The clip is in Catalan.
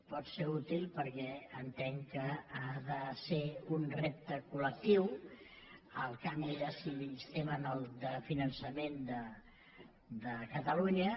pot ser útil perquè entenc que ha de ser un repte col·de sistema de finançament de catalunya